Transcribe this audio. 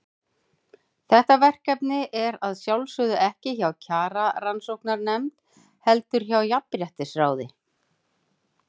Þetta verkefni er að sjálfsögðu ekki hjá Kjararannsóknarnefnd, heldur hjá Jafnréttisráði.